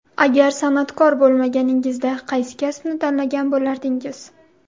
Agar san’atkor bo‘lmaganingizda, qaysi kasbni tanlagan bo‘lardingiz?